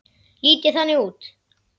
Lít ég þannig út?